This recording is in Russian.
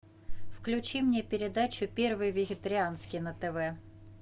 включи мне передачу первый вегетарианский на тв